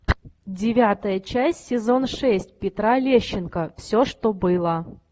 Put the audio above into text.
девятая часть сезон шесть петра лещенко все что было